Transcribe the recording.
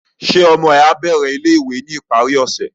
Ṣe ọmọ ẹ ma bẹrẹ ilé-ìwé ni ìparí ọsẹ?